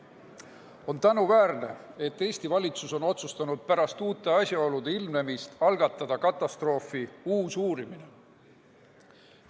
On tänuväärne, et Eesti valitsus on otsustanud pärast uute asjaolude ilmnemist algatada katastroofi uue uurimise.